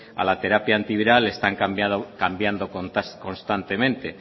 a la terapia antiviral están cambiando constantemente